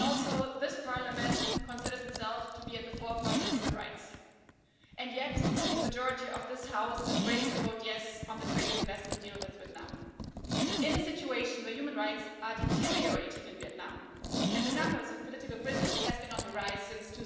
Also, this Parliament considers itself to be at the forefront of human rights, and yet the majority of this House is ready to vote yes' on the trade and investment deal with Vietnam, in a situation where human rights are deteriorating in Vietnam and the numbers of political prisoners has been on the rise since